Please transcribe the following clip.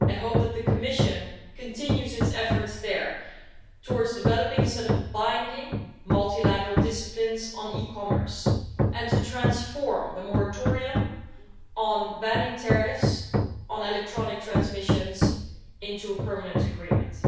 I hope that the Commission continues its efforts there towards developing a set of binding, multilateral disciplines on e commerce and to transform the moratorium on banning tariffs on electronic transmissions into a permanent agreement.